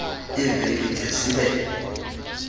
iiveki de zibe